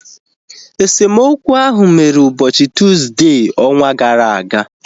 Esemokwu ahu mere ụbọchị Tuuzde ọnwa gara aga